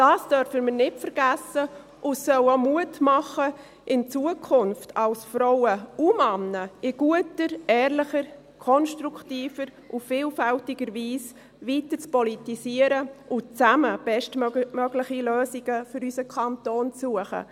Dies dürfen wir nicht vergessen, und es soll auch Mut machen, in Zukunft als Frauen Männer in guter, ehrlicher, konstruktiver und vielfältiger Weise weiterzupolitisieren und zusammen bestmögliche Lösungen für unseren Kanton zu suchen.